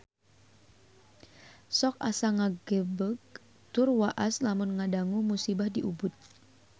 Sok asa ngagebeg tur waas lamun ngadangu musibah di Ubud